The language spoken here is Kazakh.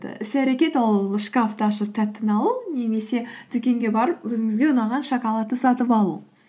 іс әрекет ол шкафты ашып тәттіні алу немесе дүкенге барып өзіңізге ұнаған шоколадты сатып алу